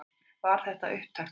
Var þetta upptakturinn?